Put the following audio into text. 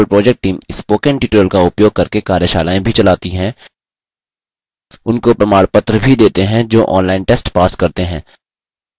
spoken tutorial project team spoken tutorial का उपयोग करके कार्यशालाएँ भी चलाती है उनको प्रमाणपत्र भी देते हैं जो online test pass करते हैं